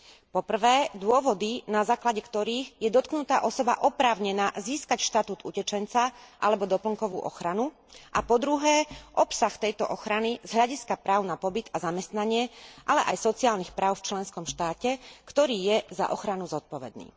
Po prvé, dôvody, na základe ktorých je dotknutá osoba oprávnená získať štatút utečenca alebo doplnkovú ochranu, a po druhé, obsah tejto ochrany z hľadiska práv na pobyt a zamestnanie, ale aj sociálnych práv v členskom štáte, ktorý je za ochranu zodpovedný.